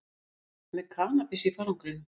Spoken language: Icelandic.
Með kannabis í farangrinum